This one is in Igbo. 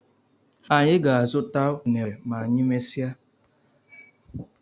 Anyị ga- azụta unere ma anyị mmesia